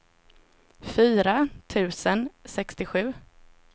fyra tusen sextiosju